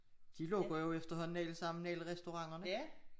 De lukker jo efterhånden alle sammen alle restauranterne